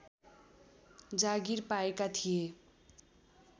जागीर पाएका थिए